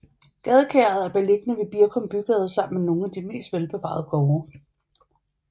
Gadekæret er beliggende ved Birkum Bygade sammen med nogle af de mest velbevarede gårde